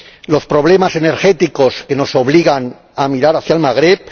los problemas energéticos que nos obligan a mirar hacia el Magreb